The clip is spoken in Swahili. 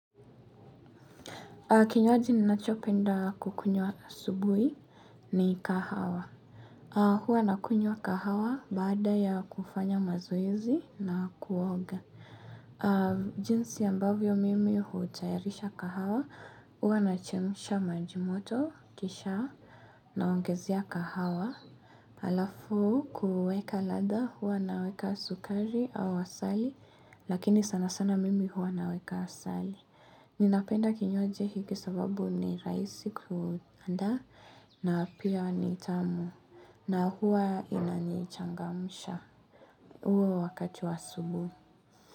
Kinywaji ninachopenda kukunyuwa asubuhi ni kahawa. Huwa nakunyua kahawa baada ya kufanya mazoezi na kuoga. Jinsi ambavyo mimi hutayarisha kahawa huwa nachemsha majimoto kisha naongezea kahawa. Alafu kuweka ladha huwa naweka sukari au asali lakini sana sana mimi huwa naweka asali. Ninapenda kinywaji hiki sababu ni raisi kruandaa na pia nitamu na huwa inanichangamsha uwe wakati wasubuhi.